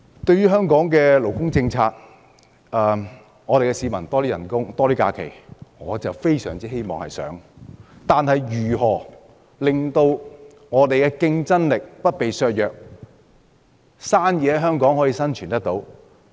對於香港的勞工政策，市民希望有更高薪酬、更多假期，我也非常希望可以這樣，但如何令香港的競爭力不被削弱，在香港營商有生存空間？